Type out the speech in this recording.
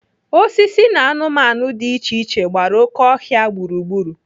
Osisi na anụmanụ dị iche iche gbara oké ọhịa gburugburu.